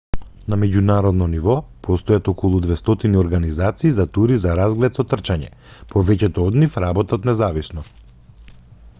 на меѓународно ниво постојат околу 200 организации за тури за разглед со трчање повеќето од нив работат независно